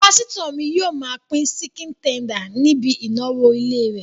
Pásítọ̀ mi yóò máa pín síkìn tender níbi ìnáwó ilé rẹ̀